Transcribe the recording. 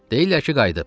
Deyirlər ki, qayıdıb.